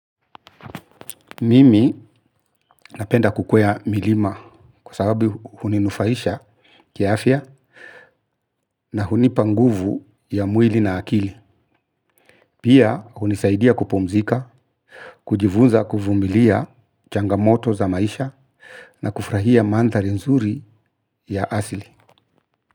Mimi napenda kukwea milima kwa sababu huninufaisha kiafya na hunipa nguvu ya mwili na akili. Pia hunisaidia kupumzika, kujivunza kuvumilia changamoto za maisha, na kufrahia mandhari nzuri ya asili.